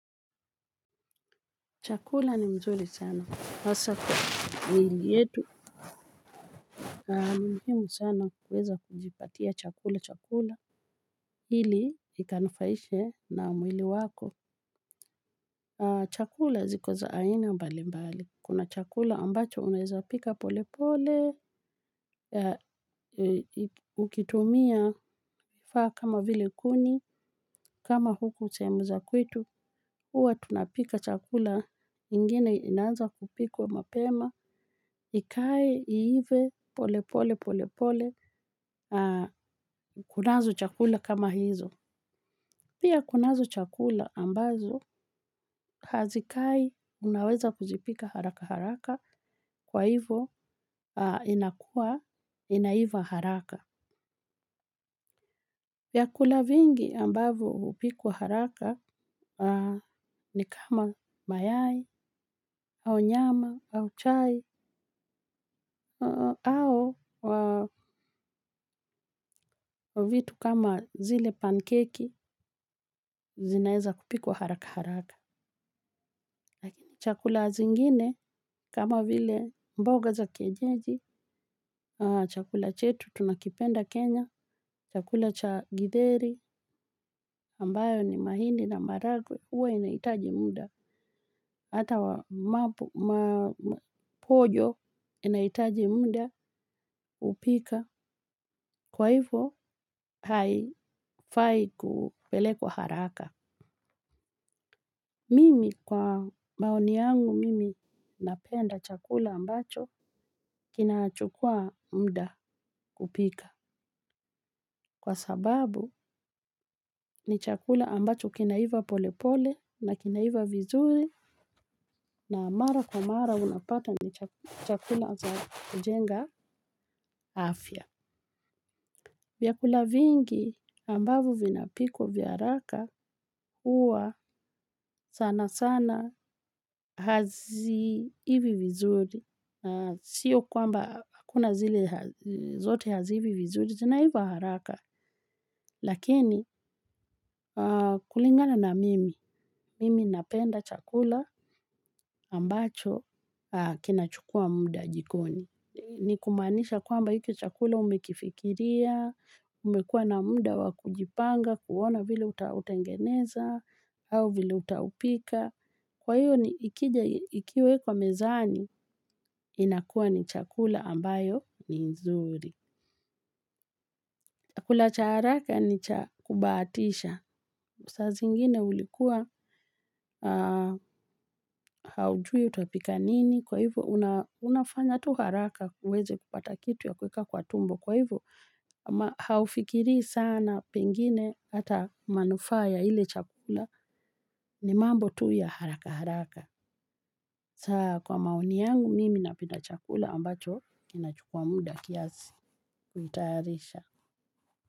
Chakula ni mzuri sana. Hasa kwa ni yetu. Ni muhimu sana kuweza kujipatia chakula cha kula. Ili ikanufaishe na mwili wako. Chakula ziko za aina mbalimbali. Kuna chakula ambacho unaweza pika polepole. Ukitumia vifaa kama vile kuni. Kama huku sehemu za kwetu. Huwa tunapika chakula. Ingine inaanza kupikwa mapema. Ikae, iive, pole pole pole pole, kunazo chakula kama hizo. Pia kunazo chakula ambazo, hazikai unaweza kuzipika harakaharaka, kwa hivo inakua, inaiva haraka. Vyakula vingi ambavyo hupikwa haraka ni kama mayai, au nyama, au chai, au vitu kama zile pancake zinaeza kupikwa haraka haraka. Chakula zingine kama vile mboga za kienyeji, chakula chetu tunakipenda Kenya, chakula cha githeri ambayo ni mahindi na maharagwe huwa inahitaji muda, hata mapojo inahitaji muda kupika kwa hivyo haifai kupelekwa haraka. Mimi kwa maoni yangu mimi napenda chakula ambacho kinachukua muda kupika. Kwa sababu ni chakula ambacho kinaiva polepole na kinaiva vizuri na mara kwa mara unapata ni chakula za kujenga afya. Vyakula vingi ambavyo vinapikwa vya haraka huwa sanasana haziivi vizuri, sio kwamba hakuna zile zote haziivi vizuri, zinaiva haraka, lakini kulingalana mimi, mimi napenda chakula ambacho kinachukua muda jikoni. Ni kumaanisha kwamba hiki chakula umekifikiria, umekuwa na muda wa kujipanga, kuona vile uta utengeneza, au vile utaupika. Kwa hiyo ni ikija, ikiwekwa mezani, inakuwa ni chakula ambayo ni nzuri. Chakula cha haraka ni cha kubahatisha. Saa zingine ulikuwa haujui utapika nini, kwa hivyo unafanya tu haraka uweze kupata kitu ya kuweka kwa tumbo. Kwa hivyo, haufikirii sana pengine hata manufaa ya ile chakula ni mambo tu ya haraka haraka. Saa kwa maoni yangu mimi napenda chakula ambacho kinachukua muda kiasi. Kuitayarisha.